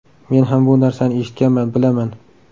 Men ham bu narsani eshitganman, bilaman.